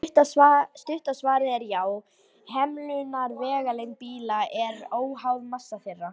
Stutta svarið er já: Hemlunarvegalengd bíla er óháð massa þeirra.